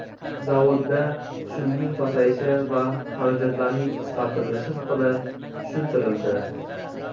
Zavodda tushumning pasayishi va xarajatlarning qisqartirilishi haqida tushuntirildi.